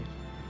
Xeyr, xeyr.